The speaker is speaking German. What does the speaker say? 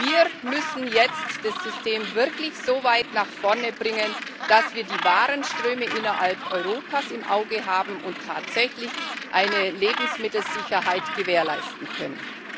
Wir müssen jetzt das System wirklich so weit nach vorne bringen, dass wir die Warenströme innerhalb Europas im Auge haben und tatsächlich eine Lebensmittelsicherheit gewährleisten können.